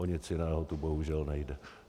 O nic jiného tu bohužel nejde.